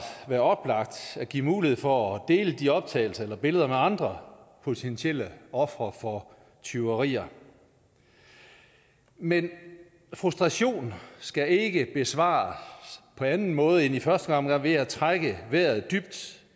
være oplagt at give mulighed for at dele de optagelser eller billeder med andre potentielle ofre for tyverier men frustration skal ikke besvares på anden måde end i første omgang ved at trække vejret dybt